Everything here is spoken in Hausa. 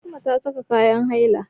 Fatima ta saka kayan nailan.